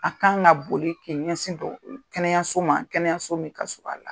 A kan ka boli kɛ ɲɛsin dɔ kɛnɛyaso ma kɛnɛyaso min ka sur'an la.